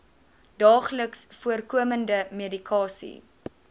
daagliks voorkomende medikasie